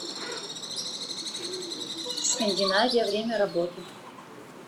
скандинавия время работы